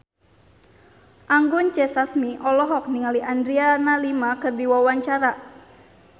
Anggun C. Sasmi olohok ningali Adriana Lima keur diwawancara